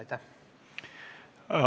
Aitäh!